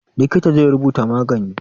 Likita zai rubuta magani.